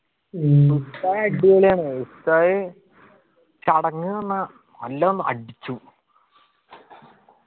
ഉസ്താദ് അടിപൊളിയാണ് ഉസ്താദ് ചടങ്ങ് നിന്നാ നല്ലോണം അടിച്ചു